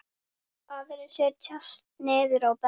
Aðrir setjast niður á bekk.